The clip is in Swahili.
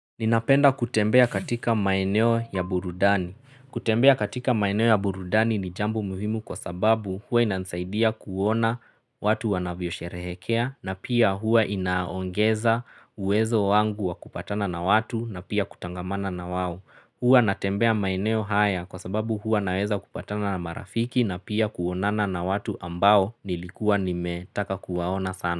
Ninapenda kutembea katika maeneo ya burudani. Kutembea katika maeneo ya burudani ni jambo mhimu kwa sababu huwa inansaidia kuona watu wanavyosherehekea na pia hua inaongeza uwezo wangu wa kupatana na watu na pia kutangamana na wawo. Huwa natembea maeneyo haya kwa sababu huwa naweza kupatana na marafiki na pia kuonana na watu ambao nilikuwa nimetaka kuwaona sana.